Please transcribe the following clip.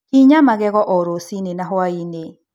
Kinya magego o rũcinĩ na hwaĩ-inĩ.